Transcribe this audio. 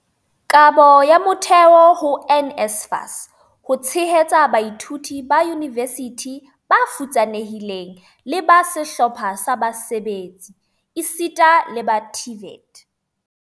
"Kabo ya motheo ho NSFAS ho tshehetsa baithuti ba yunivesithi ba futsanehileng le ba sehlopha sa basebetsi esita le ba TVET"